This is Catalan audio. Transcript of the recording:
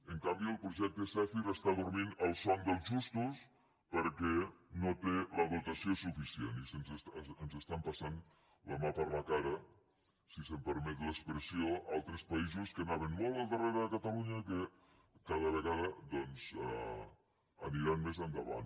en canvi el projecte zèfir està dormint el son dels justos perquè no té la dotació suficient i ens estan passant la mà per la cara si se’m permet l’expressió altres països que anaven molt al darrere de catalunya que cada vegada doncs aniran més endavant